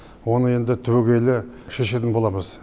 оны енді түбейгелі шешетін боламыз